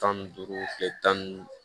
Tan ni duuru tile tan ni duuru